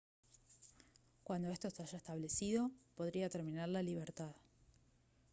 cuando esto se haya establecido podría terminar la libertad